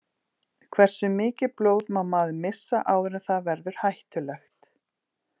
Hversu mikið blóð má maður missa áður en það verður hættulegt?